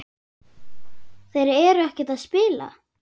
Þeir eru ekkert að spila?